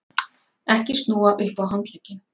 EKKI SNÚA UPP Á HANDLEGGINN!